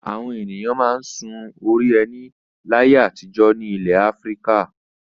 Àwọn ènìyàn máa ń sun orí ẹní láyé àtijọ́ ní ilẹ̀ Áfíríkà.